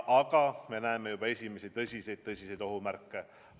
Aga me näeme juba esimesi tõsiseid ohumärke.